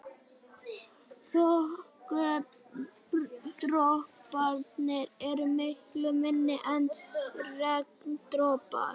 Þokudroparnir eru miklu minni en regndropar.